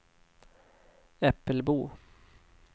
Äppelbo